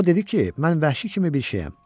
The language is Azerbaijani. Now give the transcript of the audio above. O dedi ki, mən vəhşi kimi bir şeyəm.